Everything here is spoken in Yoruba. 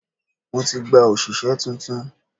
Mo ti gba òṣìṣẹ́ tuntun.